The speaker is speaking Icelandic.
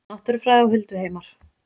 Náttúrufræði og hulduheimar